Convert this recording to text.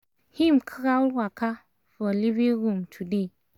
him crawl waka for living room today